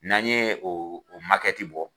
N'an ye o o makɛti bɔ